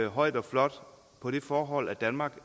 højt og flot på det forhold at danmark